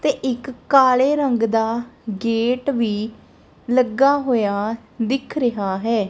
ਤੇ ਇੱਕ ਕਾਲੇ ਰੰਗ ਦਾ ਗੇਟ ਵੀ ਲੱਗਾ ਹੋਇਆ ਦਿਖ ਰਿਹਾ ਹੈ।